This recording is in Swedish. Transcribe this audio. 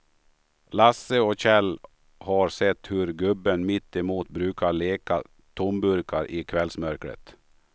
Lasse och Kjell har sett hur gubben mittemot brukar leta tomburkar i kvällsmörkret.